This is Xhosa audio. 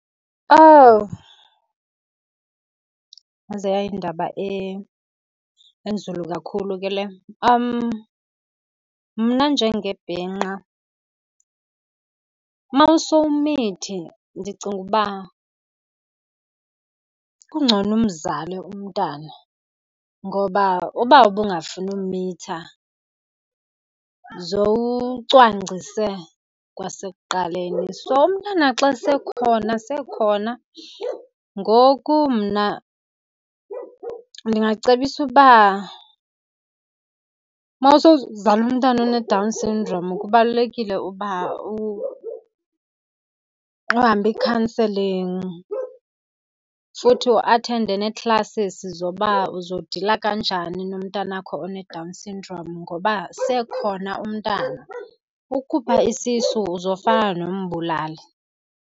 Owu, yaze yayindaba enzulu kakhulu ke le. Mna njengebhinqa uma usowumithi ndicinga uba kungcono umzale umntana. Ngoba uba ubungafuni umitha zowucwangcise kwasekuqaleni, so umntana xa sekhona sekhona. Ngoku mna ndingacebisa uba mawusowuzale umntana oneDown syndrome kubalulekile uba uhambe iikhanselingi futhi u-athende nee-classes zoba uzodila kanjani nomntana wakho oneDown syndrome, ngoba sekhona umntana. Ukukhupha isisu uzofana nombulali.